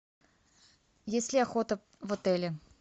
есть ли охота в отеле